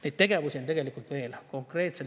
Neid tegevusi on tegelikult veel.